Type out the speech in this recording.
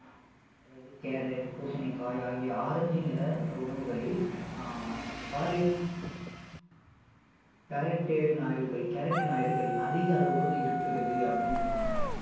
அதாவது carrot பூசணிக்காய் ஆகிய carrot நிற உணவுகளில் அஹ் அதிக அளவு இருக்கிறது அப்படின்னு சொல்றாங்க